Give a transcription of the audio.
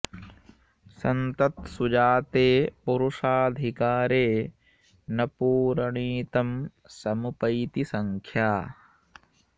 संसत्सु जाते पुरुषाधिकारे न पूरणी तं समुपैति संख्या